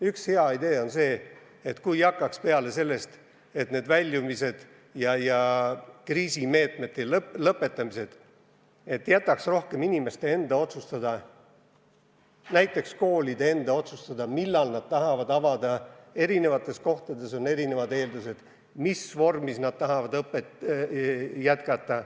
Üks hea idee on selline: kui hakkaks peale sellest, et jätaksime väljumised ja kriisimeetmete lõpetamised rohkem inimeste enda otsustada, näiteks koolide enda otsustada, millal nad tahavad uksed avada – erinevates kohtades on erinevad eeldused – ja mis vormis nad tahavad õpet jätkata.